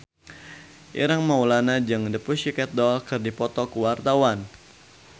Ireng Maulana jeung The Pussycat Dolls keur dipoto ku wartawan